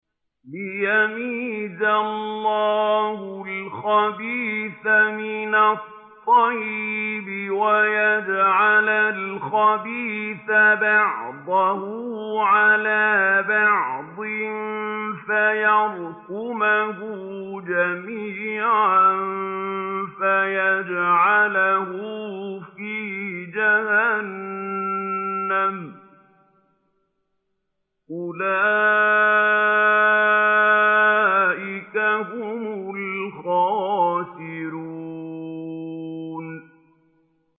لِيَمِيزَ اللَّهُ الْخَبِيثَ مِنَ الطَّيِّبِ وَيَجْعَلَ الْخَبِيثَ بَعْضَهُ عَلَىٰ بَعْضٍ فَيَرْكُمَهُ جَمِيعًا فَيَجْعَلَهُ فِي جَهَنَّمَ ۚ أُولَٰئِكَ هُمُ الْخَاسِرُونَ